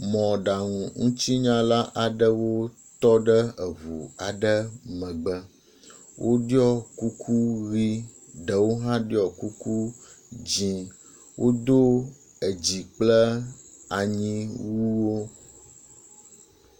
Mɔɖaŋutsinyalawo aɖewo tɔ ɖe eŋu aɖe megbe. Woɖɔ kuku ʋi ɖewo hã ɖɔ kuku dzi wodo edzi kple anyi wu wo.